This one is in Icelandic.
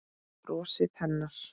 Brosið hennar.